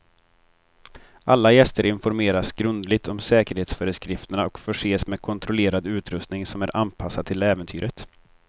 Alla gäster informeras grundligt om säkerhetsföreskrifterna och förses med kontrollerad utrustning som är anpassad till äventyret.